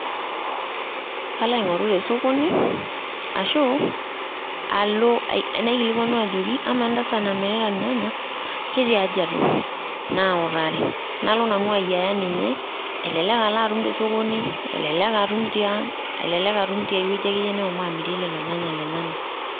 Alo aing'oru tesokoni, ashu alo naikilikwanu ajoki, amaa entasat namirita irnyanya, ketaaji atum? Nautari. Nalo nanu ayiaya ninye, elelek alo atum tesokoni, elelek atum tiang',elelek atum tia wueji akeyie neshomo amirie lelo nyanya lenyanak.